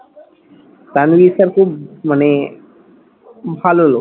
Tanvir sir খুব মানে ভালো লোক।